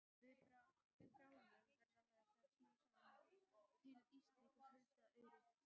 Við bráðnun verða þar smám saman til ísstrýtur huldar auri.